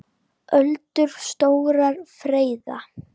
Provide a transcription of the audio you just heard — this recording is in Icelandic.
Öldur stórar freyða.